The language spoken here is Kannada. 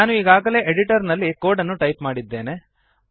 ನಾನು ಈಗಾಗಲೇ ಎಡಿಟರ್ನಲ್ಲಿ ಕೋಡ್ಅನ್ನು ಟೈಪ್ ಮಾಡಿದ್ದೇನೆ